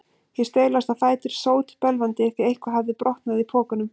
Ég staulaðist á fætur, sótbölvandi, því eitthvað hafði brotnað í pokunum.